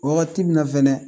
Wagati min na fɛnɛ